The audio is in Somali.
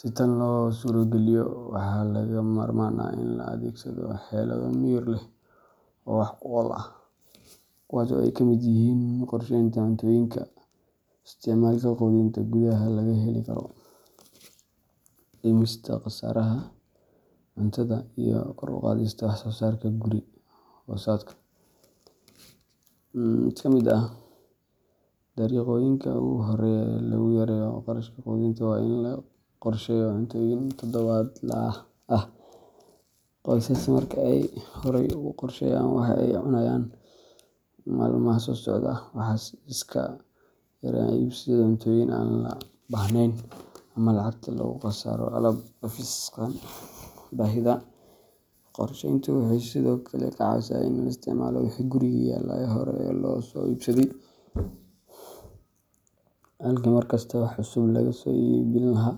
Si tan loo suurogeliyo, waxaa lagama maarmaan ah in la adeegsado xeelado miyir leh oo wax ku ool ah, kuwaas oo ay ka mid yihiin qorsheynta cuntooyinka, isticmaalka quudinta gudaha laga heli karo, dhimista khasaaraha cuntada, iyo kor u qaadista wax-soo-saarka guri-hoosaadka. Mid ka mid ah dariiqooyinka ugu horreeya ee lagu yareeyo qarashka quudinta waa in la qorsheeyo cuntooyinka todobaadlaha ah. Qoysaska marka ay horay u qorsheeyaan waxa ay cunayaan maalmaha soo socda, waxay iska yareeyaan iibsashada cuntooyin aan loo baahnayn ama lacagta lagu khasaaro alaab dhaafsiisan baahida. Qorsheyntu waxay sidoo kale ka caawisaa in la isticmaalo wixii guriga yaalla ee hore loo soo iibsaday, halkii mar kasta wax cusub laga soo iibin lahaa.